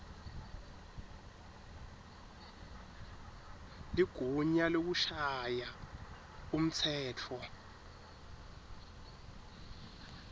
ligunya lekushaya umtsetfo